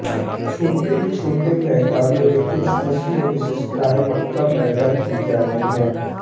छोटे छोटे मैदानों में कुछ फस्लें विशेषतया मक्का पैदा की जाती हैं